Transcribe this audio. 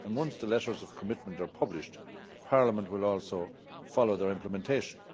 Once the letters of commitment are published, Parliament will also follow their implementation.